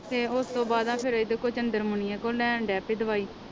ਤੇ ਉਸ ਤੋਂ ਬਾਅਦ ਫਿਰ ਇਹਦੇ ਕੋਲੋਂ ਚੰਦਰਮੁਨੀਆ ਤੋਂ ਲੈਣ ਲੱਗ ਪਈ ਦਵਾਈ